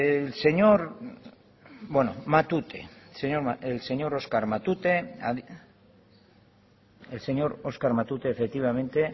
el señor oscar matute efectivamente